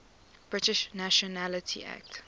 british nationality act